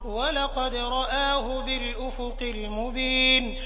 وَلَقَدْ رَآهُ بِالْأُفُقِ الْمُبِينِ